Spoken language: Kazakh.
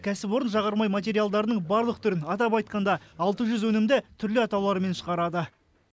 кәсіпорын жағармай материалдарының барлық түрін атап айтқанда алты жүз өнімді түрлі атаулармен шығарады